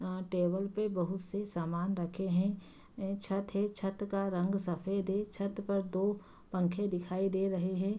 यहाँ टेबल पे बहुत से समान रखे है यह छत है छत का रंग सफेद है छत पे दो पंखे दिखाई दे रहे है।